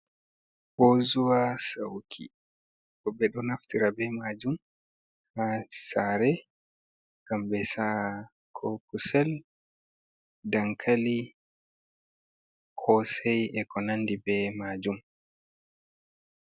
Bozuwa sauki, woɓɓe ɗo naftira be majum ha sare ngam ɓe saa ko kusel, dankali, kosai Eko nandi be majum.